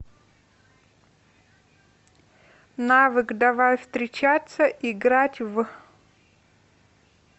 навык давай встречаться играть в